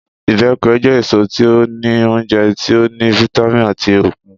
Ìbẹ́pẹ jẹ eso ti o ni ounjẹ ti o ni vitamin ati okun.